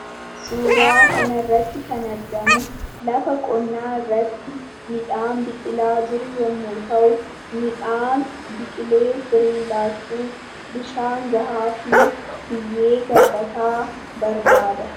Suuraa kana irratti kan argamu, lafa qonnaa irratti midhaan biqilaa jiru yemmuu ta'u, midhaan biqilee firee laachuuf bishaan gahaa fi biyyee gabbataa barbaada.